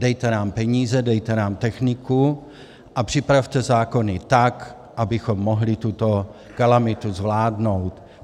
Dejte nám peníze, dejte nám techniku a připravte zákony tak, abychom mohli tuto kalamitu zvládnout.